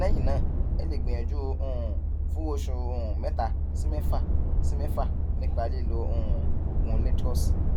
lẹyìn náà ẹ lè gbìyànjú um fún oṣù um mẹta sí mẹfà sí mẹfà nípa lílo um oògùn letroz